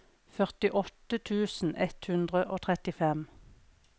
førtiåtte tusen ett hundre og trettifem